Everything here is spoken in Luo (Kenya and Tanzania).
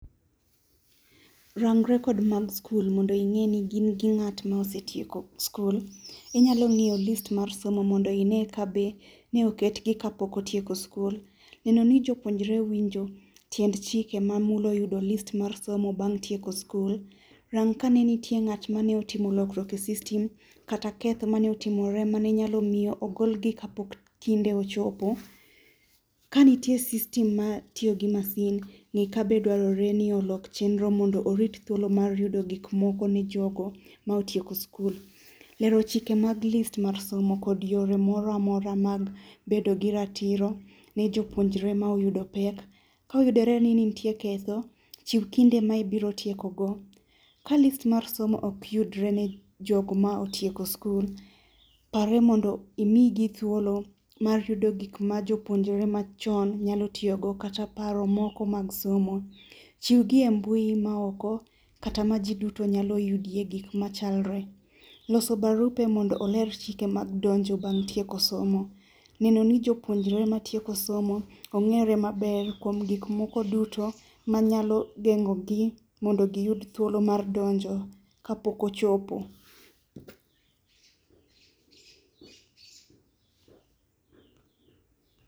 Rangre kod mag sikul mondo ing'e ni in gi ng'at ma osetieko sikul. Inyalo ng'iyo list mar somo mondo ine kabe ne oketgi kapok otieko sikul. Neno ni jopuonjre winjo tiend chike mamulo yudo list mar somo bang' tieko sikul. Rang kane nitie ng'at mane otimo lokruok e system kata keth mane otimore mane nyalo miyo ogol gi kapok kinde ochopo. Kanitie system matiyo gi masin, ng'i ka dwarore ni olok chenro mondo orit thuolo mar yudo gik moko nijogo ma otieko sikul. Lero chike mag list mag somo kod yore moroamora mag bedo gi ratiro ni jopuonjre ma oyudo pek. Ka oyudore ni nitie ketho, chiw kinde ma ibiro tiekogo. Ka list mar somo ok yudre ne jok ma otieko sikul, parie mondo imigi thuolo mar yudo gik ma jopuonjre machon nyalo tiyogo, kata paro moko mag somo. Chiw gi e mbui maoko kata majiduto nyalo yudie gik machalre loso barupe mondo oler chike mag donjo bang' tieko somo. Neno ni jopuonjre mag tieko somo ong'ere maber kuom gik moko duto manyalo geng'ogi mondo giyud thuolo mar donjo kapok ochopo.